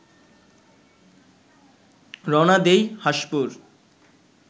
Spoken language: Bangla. রওনা দিই হাঁসপুর